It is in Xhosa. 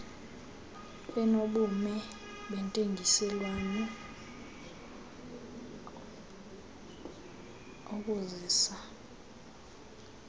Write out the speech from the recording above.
enobume bentengiselwano ukuzisa